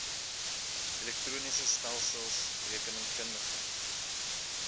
elektroniese stelsels rekeningkundige